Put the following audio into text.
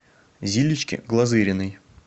зилечки глазыриной